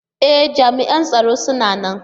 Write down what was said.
E! jam'ian tsaro suna nan.